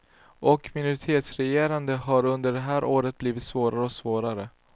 Och minoritetsregerandet, det har under de här åren blivit svårare och svårare.